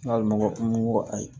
N'a ma ko ayi